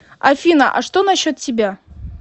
афина а что насчет тебя